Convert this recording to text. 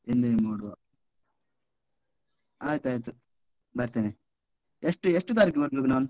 Enjoy ಮಾಡುವ, ಆಯ್ತಾಯ್ತು ಬರ್ತೇನೆ. ಎಷ್ಟು ಎಷ್ಟು ತಾರೀಕಿಗೆ ಬರ್ಬೇಕ್ ನಾನು?